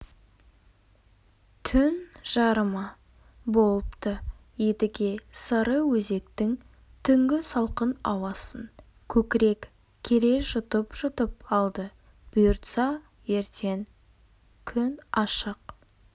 түн жарымы болыпты едіге сарыөзектің түнгі салқын ауасын көкірек кере жұтып-жұтып алды бұйыртса ертең күн ашық